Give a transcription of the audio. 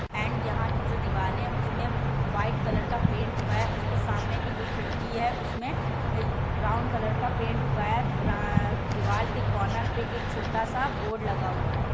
And यह की जो दीवाल है उसमें वाइट कलर का पेंट हूआ है उसके सामने की जो खिड़की है उसमें ब्राउन कलर का पेंट हुआ है ब्रा दीवाल के कार्नर पे एक छोटा सा बोर्ड लगा हूआ है।